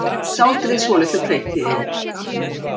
Sáldrið svolitlu hveiti yfir.